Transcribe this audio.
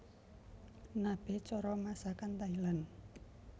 Nabe cara masakan Thailand